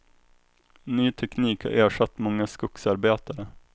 Ny teknik har ersatt många skogsarbetare.